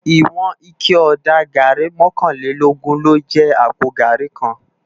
Iwòn iké òdá gàrí mòkánlélógùn ló jè àpó gàrí kán